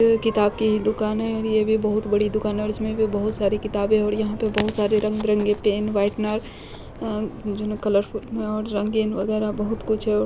ये किताब की दुकान है और ये भी बहुत बड़ी दुकान है और इसमें भी बहुत सारी किताबें और यहां पे बहुत सारे रंग-बिरंगे पेन व्हाइटनर अ जो न कलरफुल रंगीन वगैरा बहुत कुछ है और --